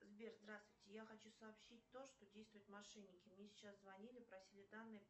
сбер здравствуйте я хочу сообщить то что действуют мошенники мне сейчас звонили просили данные